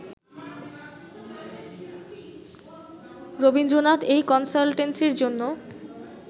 রবীন্দ্রনাথ এই কনসালটেন্সির জন্য